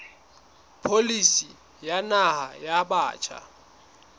pholisi ya naha ya batjha